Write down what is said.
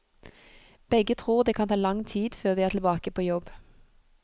Begge tror det kan ta lang tid før de er tilbake på jobb.